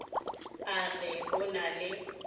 a re o na le